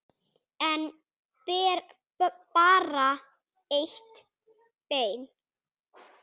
En bara eitt bein.